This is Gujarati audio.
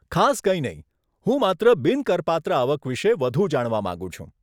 ખાસ કંઈ નહીં, હું માત્ર બિન કરપાત્ર આવક વિશે વધુ જાણવા માગું છું.